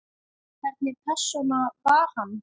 Hvernig persóna var hann?